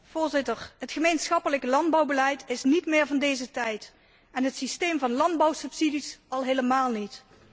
Voorzitter, het gemeenschappelijk landbouwbeleid is niet meer van deze tijd en het systeem van landbouwsubsidies al helemaal niet.